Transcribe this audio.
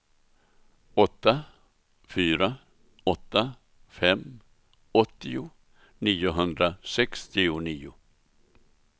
åtta fyra åtta fem åttio niohundrasextionio